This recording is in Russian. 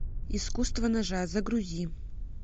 искусство ножа загрузи